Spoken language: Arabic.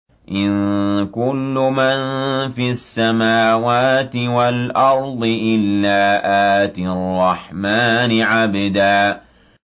إِن كُلُّ مَن فِي السَّمَاوَاتِ وَالْأَرْضِ إِلَّا آتِي الرَّحْمَٰنِ عَبْدًا